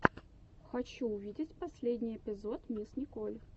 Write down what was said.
хочу увидеть последний эпизод мисс николь